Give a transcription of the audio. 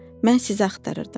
mən sizi axtarırdım.